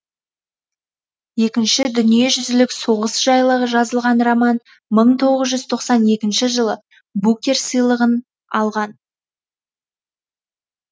екінші дүниежүзілік соғыс жайлы жазылған роман мың тоғыз жүз тоқсан екінші жылы букер сыйлығын алған